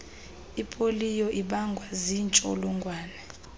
ipoliyo ibangwa ziintsholongwane